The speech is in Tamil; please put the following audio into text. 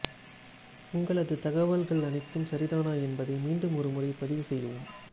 உங்களது தகவல்கள் அனைத்தும் சரிதானா என்பதை மீண்டும் ஒருமுறை பதிவு செய்யவும்